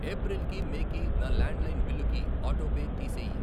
April కి, May కి, నా ల్యాండ్ లైన్ బిల్లుకి ఆటోపే తీసేయి.